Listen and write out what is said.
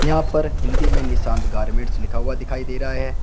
यहां पर हिंदी में निशांत गारमेंट्स लिखा हुआ दिखाई दे रहा है।